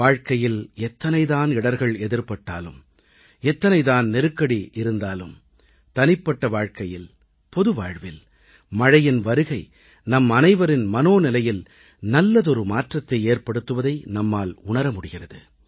வாழ்க்கையில் எத்தனைதான் இடர்கள் எதிர்ப்பட்டாலும் எத்தனைதான் நெருக்கடி இருந்தாலும் தனிப்பட்ட வாழ்க்கையில் பொதுவாழ்வில் மழையின் வருகை நம் அனைவரின் மனோநிலையில் நல்லதொரு மாற்றத்தை ஏற்படுத்துவதை நம்மால் உணர முடிகிறது